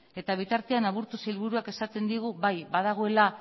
eta bitartean aburto sailburuak esaten digu bai badagoela